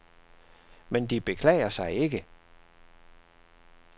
Men de beklager sig ikke.